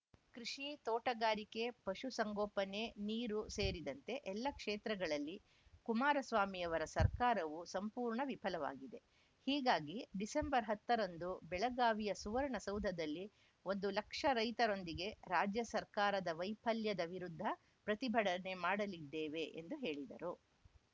ಕೃಷಿ ತೋಟಗಾರಿಕೆ ಪಶು ಸಂಗೋಪನೆ ನೀರು ಸೇರಿದಂತೆ ಎಲ್ಲ ಕ್ಷೇತ್ರಗಳಲ್ಲಿ ಕುಮಾರಸ್ವಾಮಿಯವರ ಸರ್ಕಾರವು ಸಂಪೂರ್ಣ ವಿಫಲವಾಗಿದೆ ಹೀಗಾಗಿ ಡಿಸೆಂಬರ್‌ ಹತ್ತರಂದು ಬೆಳಗಾವಿಯ ಸುವರ್ಣ ಸೌಧದಲ್ಲಿ ಒಂದು ಲಕ್ಷ ರೈತರೊಂದಿಗೆ ರಾಜ್ಯ ಸರ್ಕಾರ ದ ವೈಫಲ್ಯದ ವಿರುದ್ಧ ಪ್ರತಿಭಡನೆ ಮಾಡಲಿದ್ದೇವೆ ಎಂದು ಹೇಳಿದರು